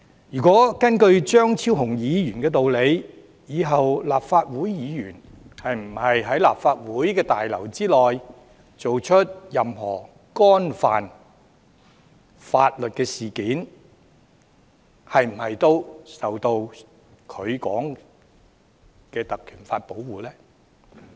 如果根據張超雄議員的道理，以後立法會議員在立法會大樓內作出任何犯法行為，是否也受到他說的《條例》所保護？